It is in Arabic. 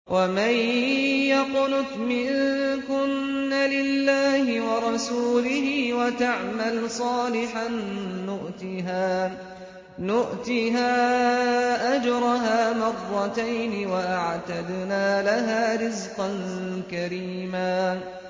۞ وَمَن يَقْنُتْ مِنكُنَّ لِلَّهِ وَرَسُولِهِ وَتَعْمَلْ صَالِحًا نُّؤْتِهَا أَجْرَهَا مَرَّتَيْنِ وَأَعْتَدْنَا لَهَا رِزْقًا كَرِيمًا